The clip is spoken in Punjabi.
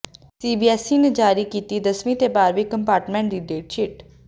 ਸੀਬੀਐੱਸਈ ਨੇ ਜਾਰੀ ਕੀਤੀ ਦਸਵੀਂ ਤੇ ਬਾਰ੍ਹਵੀਂ ਕੰਪਾਰਟਮੈਂਟ ਦੀ ਡੇਟਸ਼ੀਟ